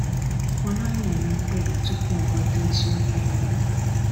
Ọ naghị eme mkpebi tupu ọ nweta eziokwu niile.